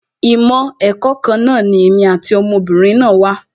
Ìmọ̀ ẹ̀kọ́ kan náà ni èmi àti ọmọ obìnrin náà wà